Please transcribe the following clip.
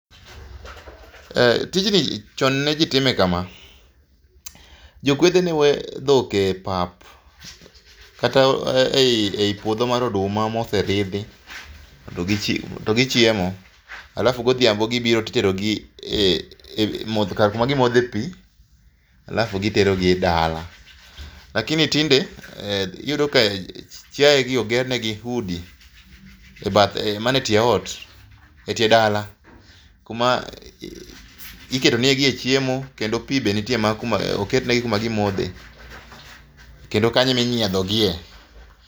Eh, tijni chon ne jii time kama. Jokwedhe ne we dhok e pap kata e ,ei puodho mar oduma moseridhi mondo gichiem, to gichiemo, alafu godhiambo gibiro titerogi mondo, kama gimodhe pii alafu gitero gi dala. Lakini tinde iyudo ka chiaye gi oger negi udi e bath, mana e tie ot, e tie dala kuma iketo negie chiemo kendo pii be nitie, oketnegi kuma gimodhe kendo kanyo ema inyiedho gie